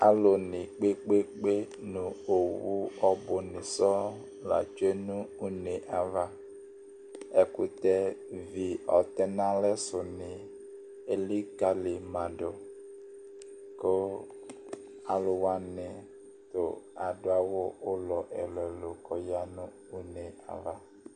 Alu ni kpekpekpe nu owu ɔbu ni sɔɔŋ la tsue nʋ unee avaƐkutɛ vi ɔtɛnalɛ suni elikali maduKʋ aluwani tu adu awu ulɔ ɛlu ɛlu kɔyanʋ unee'ava